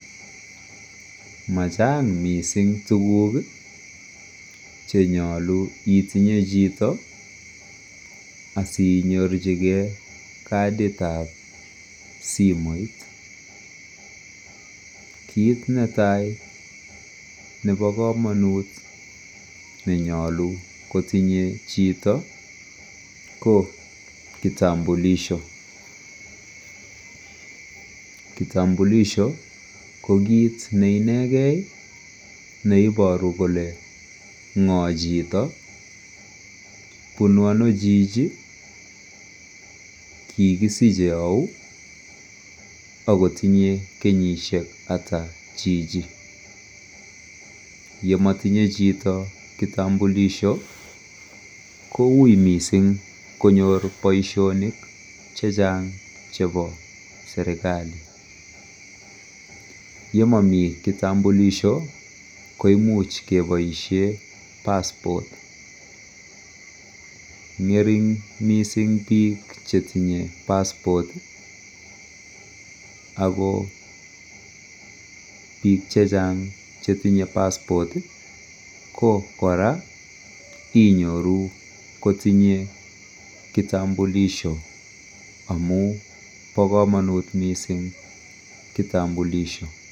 Machang mising tukuk chenyolu itinye chito asinyorchigei kadit ap simoit kiit netai nebo komonut nenyolu kotinyei chito ko kitambulisho , kitambulisho ko kiit neinegei neiboru kole ng'o chito bunu ano chichi kikisiche au ako tinyei kenyishek ata chichi yematinye chito kitambulisho koui mising konyor boishonik chechang chebo serikali yemami kitambulisho koimuch keboishe passport ng'ering biik mising chetinyei passport ako biik che chang chetinyei passport ko kora inyoru kotinyei kitambulisho amu bo komonut mising kitambulisho